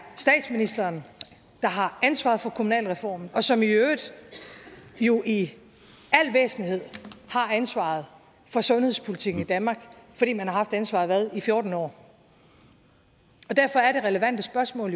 statsministeren der har ansvaret for kommunalreformen og som i øvrigt jo i al væsentlighed har ansvaret for sundhedspolitikken i danmark fordi man har haft ansvaret i fjorten år derfor er det relevante spørgsmål